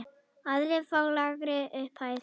Aðrir fá lægri upphæð.